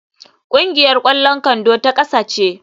Kungiyar kwallon kwando ta kasa ce.